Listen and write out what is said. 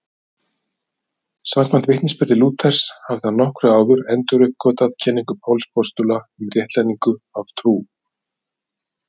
Samkvæmt vitnisburði Lúthers hafði hann nokkru áður enduruppgötvað kenningu Páls postula um réttlætingu af trú.